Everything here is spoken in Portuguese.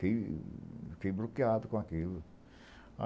Fiquei, fiquei bloqueado com aquilo.